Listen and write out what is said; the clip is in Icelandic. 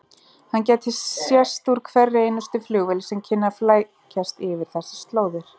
Hann gæti sést úr hverri einustu flugvél sem kynni að flækjast yfir þessar slóðir.